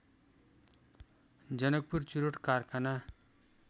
जनकपुर चुरोट कारखाना